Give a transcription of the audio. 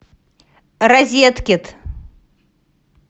розеткед